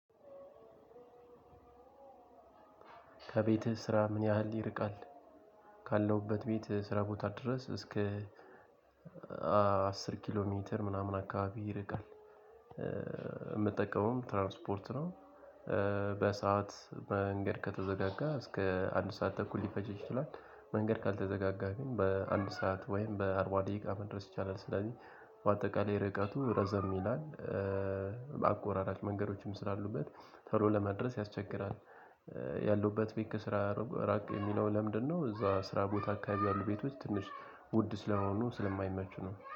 ከቤትህ ስራ ምን ያህል ይርቃል? ካለሁበት ቤት ስራ ቦታ ድረስ እስከ አስር ኪሎ ሜትር ምናምን አካባቢ ይርቃል። እምጠቀመውም ትራንስፖርት ነው። በሰአት መንገድ ከተዘጋጋ እስከ አንድ ሰዓት ተኩል ሊፈጅ ይችላል መንገድ ካልተዘጋጋ ግን በአንድ ሰዓት ወይም በአርባ ደቂቃ መድረስ ይቻላል። ስለዚህ በአጠቃላይ ርቀቱ ረዘም ይላል። በአቆራራጭ መንገዶችም ስላሉበት ተሎ ለመድረስ ያስቸግራል። ያለሁበት ቤት ከስራ ራቅ የሚለው ለምንድነው? እዛ ስራ ቦታ አካባቢ ያሉ ቤቶች ትንሽ ውድ ስለሆኑ ስለማይመቹ ነው